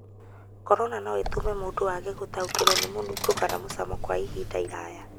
Corona no ĩtũme mũndũ aage gũtaũkĩrũo nĩ mũnungo na mũcamo kwa ihinda iraya.